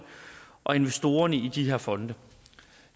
og investorerne i de her fonde